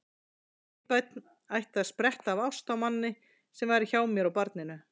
Mitt barn ætti að spretta af ást á manni sem væri hjá mér og barninu.